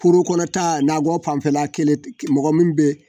Poro kɔnɔta nakɔ fanfɛla mɔgɔ min bɛ yen.